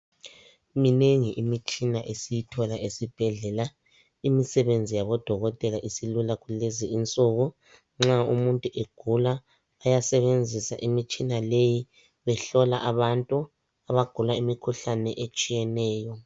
Minengi imitshina esiyithola esibhedlela. Imisebenzi yabodokotela isilula kulezinsuku. Nxa umuntu egula, bayasebenzisa imitshina leyi behlola abantu abagula imikhuhlane etshiyeneyo.